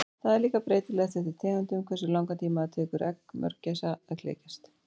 Það er líka breytilegt eftir tegundum hversu langan tíma það tekur egg mörgæsa að klekjast.